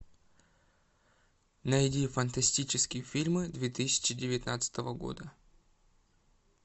найди фантастические фильмы две тысячи девятнадцатого года